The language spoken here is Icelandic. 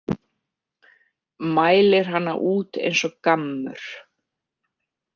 Mælir hana út eins og gammur.